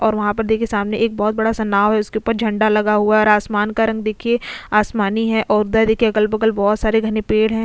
और वहां पर देखिए सामने एक बहुत बड़ा सा नाव है उसके ऊपर झंडा लगा हुआ है और आसमान का रंग देखिए आसमानी है और देखिए अगल बगल बहुत सारे घने पेड़ हैं।